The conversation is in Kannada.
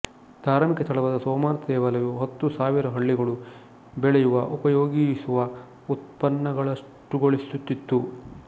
ಧಾರ್ಮಿಕ ಸ್ಥಳವಾದ ಸೋಮನಾಥ ದೇವಾಲಯವು ಹತ್ತು ಸಾವಿರ ಹಳ್ಳಿಗಳು ಬೆಳೆಯುವಉಪಯೋಗಿಸುವ ಉತ್ಪನ್ನಗಳಷ್ಟುಗಳಿಸುತ್ತಿತ್ತು